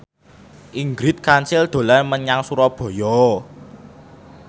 Ingrid Kansil dolan menyang Surabaya